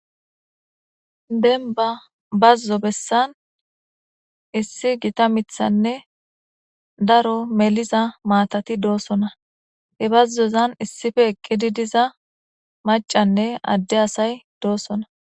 denba bazzo bessan issi gita mithanne daro meliza maatati doosona he bazzozan issife eqqidi diza macanne adde asay doossona